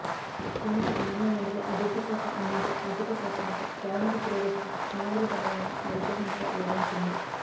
కేంద్ర మానవ వనరుల అభివృద్ధిశాఖ అందించే ఆర్థిక సహకారంతో ప్రాథమిక పురోగతికి పునాదులు పడ్డాయని ఆ విద్యాసంస్థ వివరించింది